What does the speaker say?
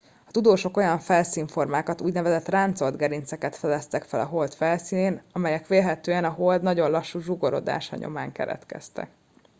a tudósok olyan felszínformákat úgynevezett ráncolt gerinceket fedeztek fel a hold felszínén amelyek vélhetően a hold nagyon lassú zsugorodása nyomán keletkeztek